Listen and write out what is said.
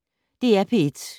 DR P1